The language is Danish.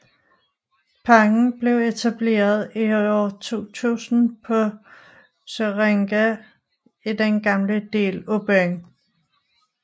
Parken blev etableret i år 2000 på Sørenga i den gamle del af byen